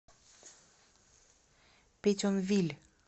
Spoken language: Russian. петьонвиль